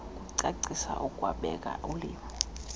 ukucaciswa ukubeka ulimo